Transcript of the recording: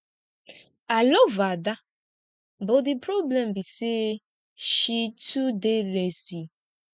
i love ada but the problem be say she too dey lazy